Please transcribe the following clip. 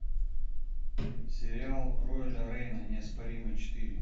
сериал роэля рейна неоспоримый четыре